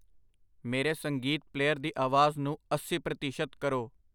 ਮੇਰੇ ਸੰਗੀਤ ਪਲੇਅਰ ਦੀ ਆਵਾਜ਼ ਨੂੰ ਅੱਸੀ ਪ੍ਰਤੀਸ਼ਤ ਕਰੋ।